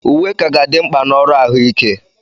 Uwe ka ga-adị mkpa na ọrụ ahụike.